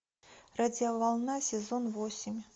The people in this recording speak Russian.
радиоволна сезон восемь